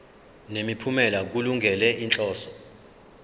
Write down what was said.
nemiphumela kulungele inhloso